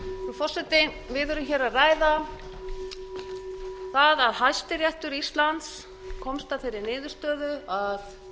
forseti við erum hér að ræða það að hæstiréttur íslands komst að þeirri niðurstöðu að